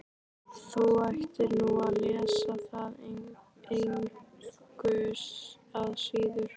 Þú ættir nú að lesa það engu að síður.